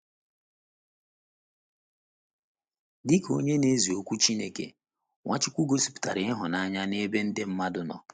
Dị ka onye na - ezi Okwu Chineke, Nwachukwu gosipụtara ịhụnanya n’ebe ndị mmadụ nọ